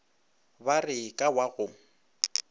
ba re ka wa go